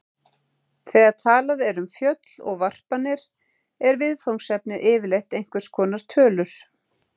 Þegar talað er um föll og varpanir er viðfangsefnið yfirleitt einhvers konar tölur.